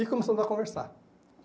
E começamos a conversar.